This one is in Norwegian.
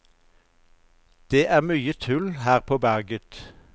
Det er mye tull her på berget.